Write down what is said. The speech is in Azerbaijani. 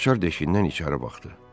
Açar deşiyindən içəri baxdı.